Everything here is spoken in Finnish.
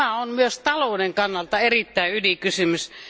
Tämä on myös talouden kannalta erittäin ydinkysymys.